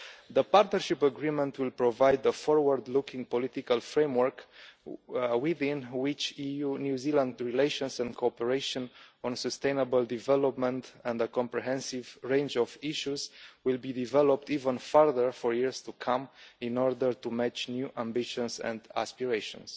The Partnership Agreement will provide a forward looking political framework within which EU New Zealand relations and cooperation on sustainable development and a comprehensive range of issues will be developed even further for years to come, in order to match new ambitions and aspirations.